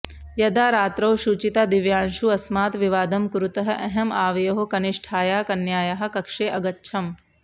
यदा रात्रौ शुचितादिव्यांशू अस्मात् विवादं कुरुतः अहं आवयोः कनिष्ठायाः कन्यायाः कक्षे अगच्छम्